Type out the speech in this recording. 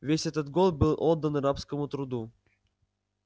весь этот год был отдан рабскому труду